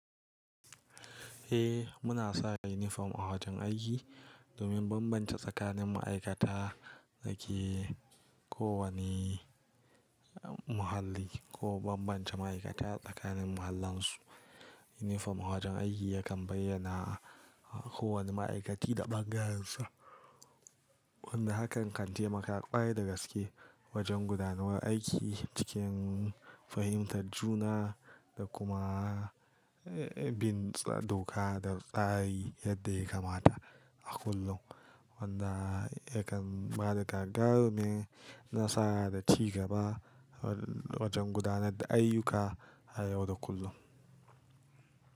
Eh muna saka inifom a wajen aiki domin bambance tsakanin ma'aikata da ke kowane muhalli ko bambance ma'aikata tsakanin mahallansu. Inifom a wajen aiki yakan bayyana kowane ma'aikaci da bangarensu wanda hakan kan taimaka ƙwarai da gaske wajen gudanuwar aiki cikin fahimtar juna da kuma bin tsar doka da tsari yadda ya kamata a kullum. Wanda yakan bada gagarumi nasara da cigaba wajen gudanar da ayyuka a yau da kullum.